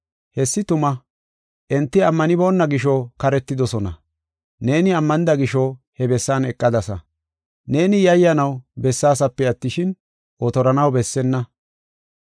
Hessi tuma. Enti ammanibona gisho karetidosona. Neeni ammanida gisho he bessan eqadasa. Neeni yayyanaw besseesipe attishin, otoranaw bessenna.